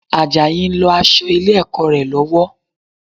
Àjàyí ń lọ aṣọ ilé-ẹ̀kọ́ rẹ̀ lọ́wọ́